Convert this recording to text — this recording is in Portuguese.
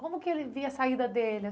Como que ele via a saída dele?